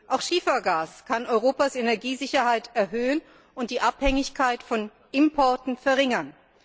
Auch Schiefergas kann Europas Energiesicherheit erhöhen und die Abhängigkeit von Importen verringern.